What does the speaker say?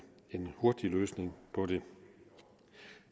hurtig løsning på det